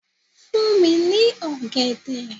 Fún mi ní ọ̀gẹ̀dẹ̀.